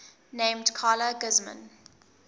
named carla guzman